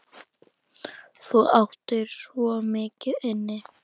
Þú áttir svo mikið inni.